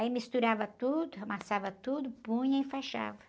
Aí misturava tudo, amassava tudo, punha e enfaixava.